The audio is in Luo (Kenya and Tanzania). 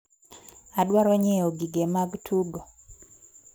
Adwaro nyiewo gige mag tugo.